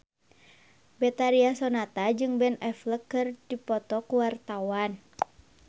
Betharia Sonata jeung Ben Affleck keur dipoto ku wartawan